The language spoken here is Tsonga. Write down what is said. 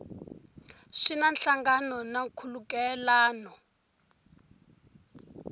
swi na nhlangano na nkhulukelano